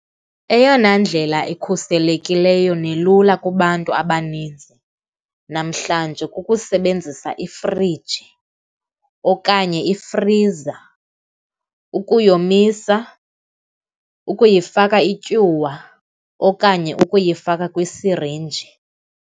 Eyona ndlela ikhuselekileyo nelula kubantu abaninzi namhlanje kukusebenzisa ifriji okanye ifriza, ukuyomisa, ukuyifaka ityiwa okanye ukuyifaka kwisirinji.